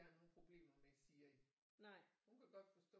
Har nogle problemer med Siri hun kan godt forstå